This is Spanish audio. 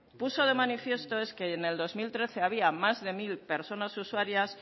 puso de manifiesto fue que en el dos mil trece había más de mil personas usuarias